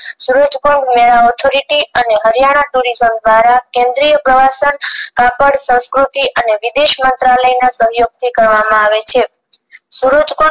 સુરજકુંડ મેળા Authority અને Haryana tourism દ્વારા કેન્દ્રીય પ્રવાસ ગણ કાપડ સંસ્કૃતિ અને વિદેશ મંત્રાલય ના સહયોગ થી કરવામાં આવે છે